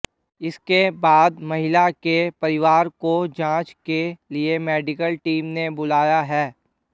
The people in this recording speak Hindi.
इसके बाद महिला के परिवार को जांच के लिए मेडिकल टीम ने बुलाया है